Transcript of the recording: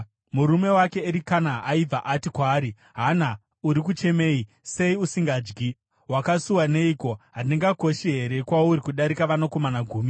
Murume wake Erikana aibva ati kwaari, “Hana, uri kuchemei? Sei usingadyi? Wakasuwa neiko? Handikoshi here kwauri kudarika vanakomana gumi?”